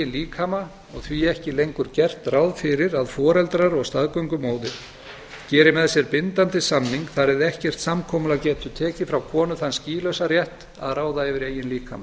líkama og því ekki lengur gert ráð fyrir að foreldrar og staðgöngumóðir geri með sér bindandi samning þar eð ekkert samkomulag getur tekið frá konu þann skýlausa rétt að ráða yfir eigin líkama